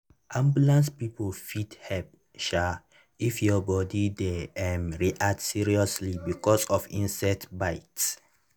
ambulance people fit help um if your body dey um react seriously because of insect bite.